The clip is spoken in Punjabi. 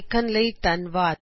ਦੇਖਣ ਲਈ ਧੰਨਵਾਦ